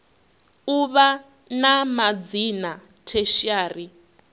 u vha na madzina tertiary